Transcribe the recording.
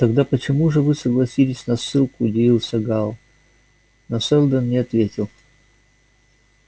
тогда почему же вы согласились на ссылку удивился гаал но сэлдон не ответил